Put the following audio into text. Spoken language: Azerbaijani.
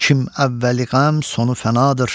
Kim əvvəli əm, sonu fənadır.